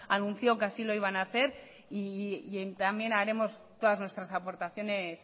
anunció que así lo iban a hacer y también haremos todas nuestras aportaciones